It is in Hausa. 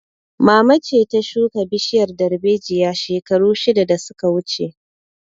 Mama ce ta shuka bishiyar darbejiya shekaru shida da su ka wuce